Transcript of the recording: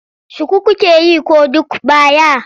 Shuku kuke yi ko duk baya?